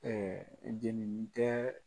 Ɛɛ jenini tɛ.